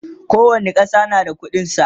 kowani ƙasa na da ƙuɗin sa